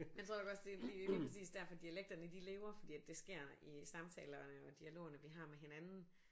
Men tror du ikke også det det er lige præcis derfor dialekterne de lever fordi at det sker i samtaler og dialogerne vi har med hinanden